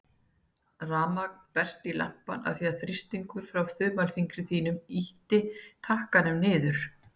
Rafmagn berst í lampann af því að þrýstingur frá þumalfingri mínum ýtti takkanum niður.